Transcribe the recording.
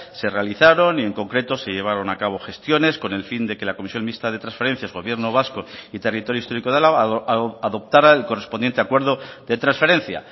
se realizaron y en concreto se llevaron a cabo gestiones con el fin de que la comisión mixta de transferencias gobierno vasco y territorio histórico de álava adoptara el correspondiente acuerdo de transferencia